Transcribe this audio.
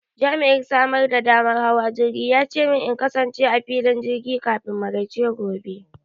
Jami'in samar da damar hawa jirgi ya ce min in kasance a filin jirgi kafin maraice gobe.